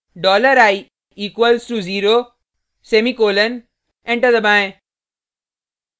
dollar i equals to zero semicolon enter दबाएँ